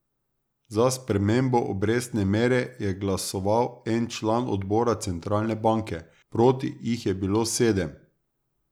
Za spremembo obrestne mere je glasoval en član odbora centralne banke, proti jih je bilo sedem.